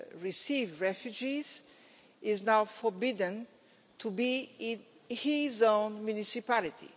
receive refugees is now forbidden to be in his own municipality?